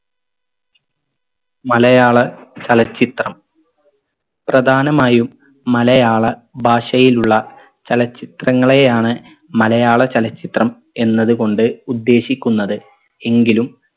മലയാള ചലച്ചിത്രം പ്രധാനമായും മലയാള ഭാഷയിലുള്ള ചലച്ചിത്രങ്ങളെയാണ് മലയാള ചലച്ചിത്രം എന്നത് കൊണ്ട് ഉദ്ദേശിക്കുന്നത് എങ്കിലും